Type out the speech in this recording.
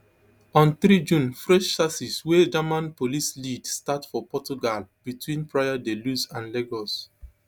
on three june fresh searches wey german police lead start for portugal between praia da luz and lagos